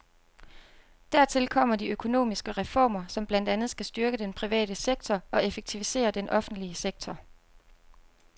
Dertil kommer de økonomiske reformer, som blandt andet skal styrke den private sektor og effektivisere den offentlige sektor.